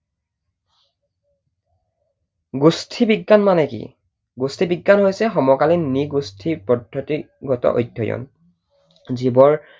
গোষ্ঠী বিজ্ঞান মানে কি? গোষ্ঠী বিজ্ঞান মানে হৈছে সমকালীন নৃগোষ্ঠী পদ্ধতিগত অধ্যয়ন। জীৱন